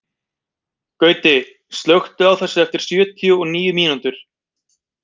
Gauti, slökktu á þessu eftir sjötíu og níu mínútur.